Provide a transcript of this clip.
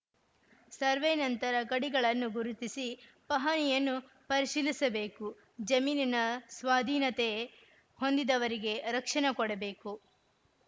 survey ನಂತರ ಗಡಿಗಳನ್ನು ಗುರುತಿಸಿ ಪಹಣಿಯನ್ನು ಪರಿಶೀಲಿಸಬೇಕು ಜಮೀನಿನ ಸ್ವಾಧೀನತೆ ಹೊಂದಿದವರಿಗೆ ರಕ್ಷಣೆ ಕೊಡಬೇಕು